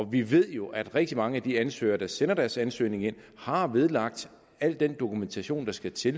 vi ved jo at rigtig mange af de ansøgere der sender deres ansøgning ind har vedlagt al den dokumentation der skal til